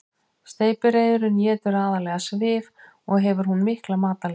Steypireyðurin étur aðallega svif og hefur hún mikla matarlyst.